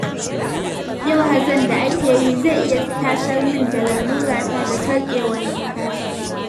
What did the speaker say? Yau hazon da ake yi zai iya tasar min da lalurata ta sarƙewar numfashi